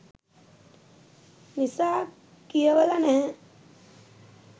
නිසා කියවල නැහැ